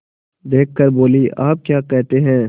देख कर बोलीआप क्या कहते हैं